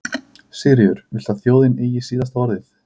Sigríður: Viltu að þjóðin eigi síðasta orðið?